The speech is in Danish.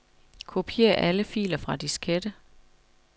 Kopier alle filer fra diskette.